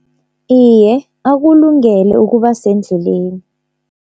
Iye akulungele ukuba sendleleni.